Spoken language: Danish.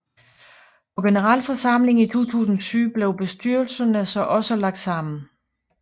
På generalforsamlingen i 2007 blev bestyrelserne så også lagt sammen